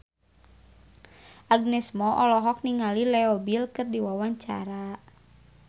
Agnes Mo olohok ningali Leo Bill keur diwawancara